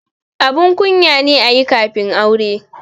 Abun kunya ne ayi kafin aure